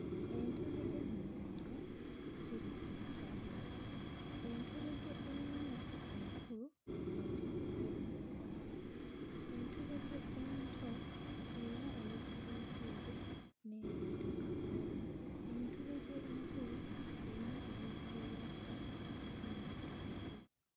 Entulege zino eno ziri ku ttale, entulege emu nkulu ku ntulege endala. Entulege ento eyina ebikuubo ebyeru n'ebiddugavu, entulege enkulu eyina ebikuubo bya kitaka n'ebiddugavu.